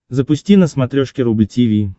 запусти на смотрешке рубль ти ви